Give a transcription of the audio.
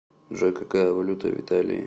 джой какая валюта в италии